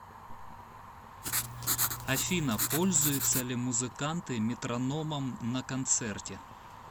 афина пользуются ли музыканты метрономом на концерте